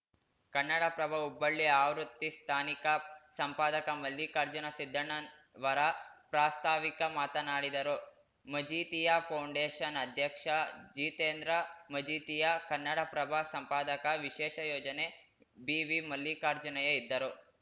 ಕನ್ನಡಪ್ರಭ ಹುಬ್ಬಳ್ಳಿ ಆವೃತ್ತಿ ಸ್ಥಾನಿಕ ಸಂಪಾದಕ ಮಲ್ಲಿಕಾರ್ಜುನ ಸಿದ್ದಣ್ಣವರ ಪ್ರಾಸ್ತಾವಿಕ ಮಾತನಾಡಿದರು ಮಜೀಥಿಯಾ ಫೌಂಡೇಶನ್‌ ಅಧ್ಯಕ್ಷ ಜಿತೇಂದ್ರ ಮಜೀಥಿಯಾ ಕನ್ನಡಪ್ರಭ ಸಂಪಾದಕ ವಿಶೇಷ ಯೋಜನೆ ಬಿವಿಮಲ್ಲಿಕಾರ್ಜುನಯ್ಯ ಇದ್ದರು